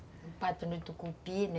O pato no tucupi, né.